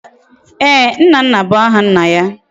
Eeh! Nnanna bu aha nna ya